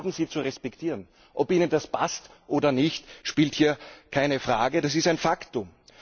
Das haben Sie zu respektieren, ob Ihnen das passt oder nicht, spielt hier keine Rolle. Das ist ein Faktum.